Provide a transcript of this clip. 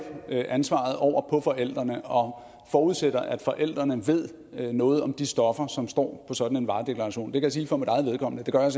ansvaret over på forældrene og forudsætter at forældrene ved noget om de stoffer som står på sådan en varedeklaration jeg kan sige for mig eget vedkommende at det gør jeg